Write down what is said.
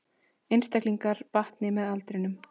Einstaklingar batni með aldrinum